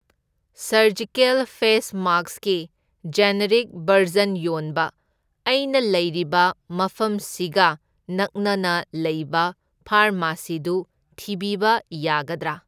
Surgical face ꯃꯥꯛꯁ ꯀꯤ generic ꯕꯔꯖꯟ ꯌꯣꯟꯕ ꯑꯩꯅ ꯂꯩꯔꯤꯕ ꯃꯐꯝꯁꯤꯒ ꯅꯛꯅꯅ ꯂꯩꯕ ꯐꯥꯔꯃꯥꯁꯤꯗꯨ ꯊꯤꯕꯤꯕ ꯌꯥꯒꯗ꯭ꯔꯥ?